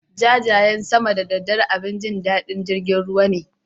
Jajayen sama da daddare abin jin daɗin jirgin ruwa ne.